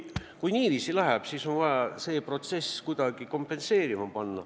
Kui niiviisi läheb, siis on vaja see protsess kuidagi kompenseerida.